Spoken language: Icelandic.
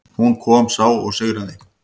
Hún kom, sá og sigraði.